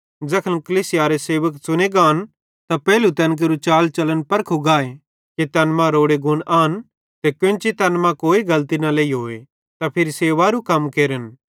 ज़ैखन कलीसियारे सेवक च़ुने गान त पेइलू तैन केरू चालचलन परखू गाए कि तैन मां रोड़े गुण आन ते केन्ची तैन मां कोई गलती न लेइहोए त फिरी सेवकेरू कम केरन